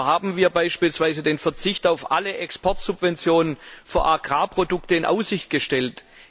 So haben wir beispielsweise den Verzicht auf alle Exportsubventionen für Agrarprodukte in Aussicht gestellt.